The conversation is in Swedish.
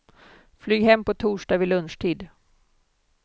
Flyg hem på torsdag vid lunchtid.